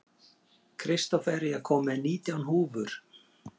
Kristófer, ég kom með nítján húfur!